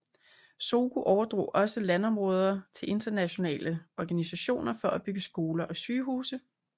Zogu overdrog også landområder til internationale organisationer for at bygge skoler og sygehuse